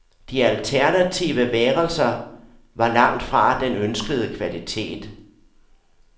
De alternative værelser var langt fra den ønskede kvalitet.